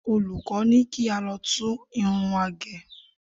Olùkọ́ ní kí á lọ tún irun wa gẹ̀.